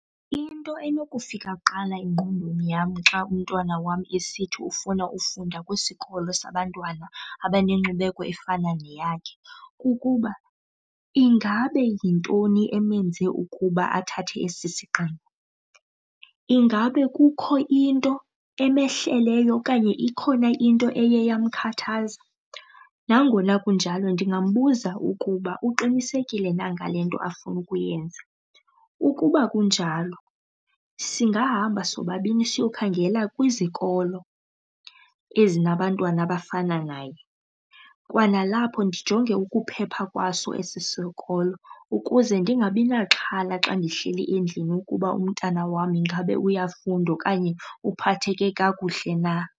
Into enokufika kuqala engqondweni yam xa umntwana wam esithi ufuna ufunda kwisikolo sabantwana abanenkcubeko efana neyakhe kukuba ingabe yintoni emenze ukuba athathe esi sigqibo, ingabe kukho into emehleleyo okanye ikhona into eye yamkhathaza. Nangona kunjalo ndingambuza ukuba uqinisekile na ngalento afuna ukuyenza. Ukuba kunjalo singabahamba sobabini siyokhangela kwizikolo ezinabantwana abafana naye, kwanalapho ndijonge ukuphepha kwaso esi sikolo ukuze ndingabi naxhala xa ndihleli endlini ukuba umntana wam ingabe uyafunda okanye uphatheke kakuhle na.